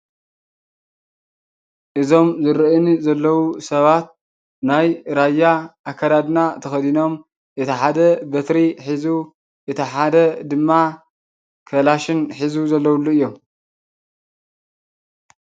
እዞም ዝረኣዩኒ ዘለው ሰባት ናይ ራያ ኣከዳድና ተከዲኖም እቲ ሓደ በትሪ ሒዙ፣ እቲ ሓደ ድማ ከላሽን ሒዙ ዘለውሉ እዮም።